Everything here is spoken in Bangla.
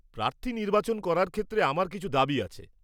প্রার্থী নির্বাচন করার ক্ষেত্রে আমার কিছু দাবী আছে।